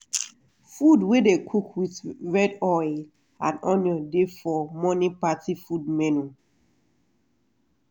beans wey dey cook with red oil and onion dey for morning party food menu.